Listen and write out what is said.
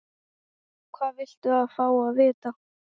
Hvað viltu fá að vita?